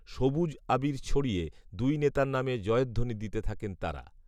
সবুজ আবির ছড়িয়ে দুই নেতার নামে জয়ধ্বনি দিতে থাকেন তাঁরা